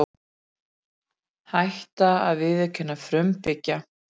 Hætta að viðurkenna frumbyggja